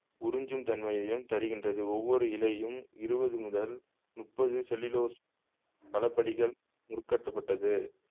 உறிஞ்சும் தன்மையையும் தருகின்றது ஒவ்வொரு இழையும் இருவது முதல் முப்பது செல்லுலோஸ் பலபடிகள் முறுக்கேற்றப்பட்டது